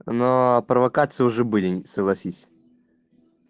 но провокации уже были согласись